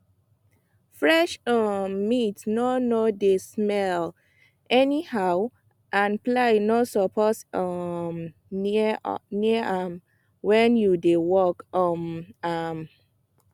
fresh um meat no no dey smell anyhow and fly no suppose um near am when you dey work um am